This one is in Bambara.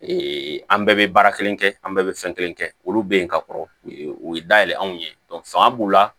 an bɛɛ bɛ baara kelen kɛ an bɛɛ bɛ fɛn kelen kɛ olu bɛ yen ka kɔrɔ u ye dayɛlɛ anw ye fanga b'u la